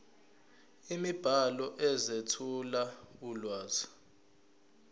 imibhalo ezethula ulwazi